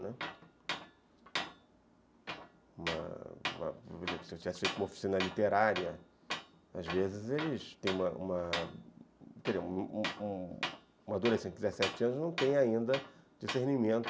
Né, se eu tivesse feito uma oficina literária, às vezes, eles tem uma uma, quer dizer, às vezes um adolescente de dezessete anos não tem ainda discernimento